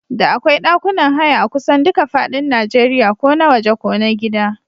Da akwai ɗakunan haya akusan duka fadin Najeriya ko na waje ko na gida.